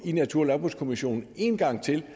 i natur og landbrugskommissionen en gang til